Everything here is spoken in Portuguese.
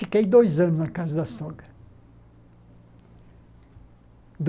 Fiquei dois anos na casa da sogra.